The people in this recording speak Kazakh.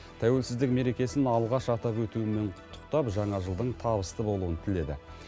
тәуелсіздік мерекесін алғаш атап өтуімен құттықтап жаңа жылдың табысты болуын тіледі